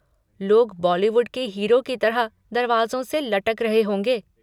लोग बॉलीवुड के हीरो की तरह दरवाज़ों से लटक रहे होंगे।